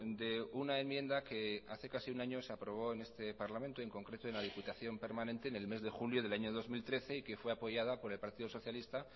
de una enmienda que hace casi un año se aprobó en este parlamento en concreto en la diputación permanente en el mes de julio del año dos mil trece y que fue apoyada por el partido socialista